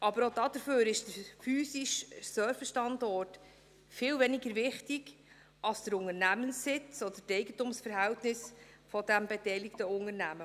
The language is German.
Aber auch dafür ist der physische Serverstandort viel weniger wichtig als der Unternehmenssitz oder die Eigentumsverhältnisse des beteiligten Unternehmens.